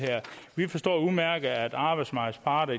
vi forstår udmærket at arbejdsmarkedets parter